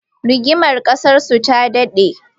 Rigimar ƙasarsu ta daɗe